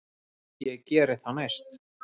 Ég geri það næst.